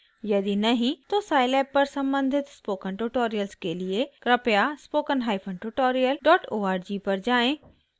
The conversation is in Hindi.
यदि नहीं तो साइलैब पर सम्बधित स्पोकन ट्यूटोरियल्स के लिए कृपया spoken hyphen tutorial dot org पर जाएँ